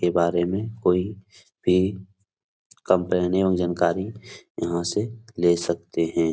के बारे में कोई भी कंप्लेने और जानकारी यहां से ले सकते हैं।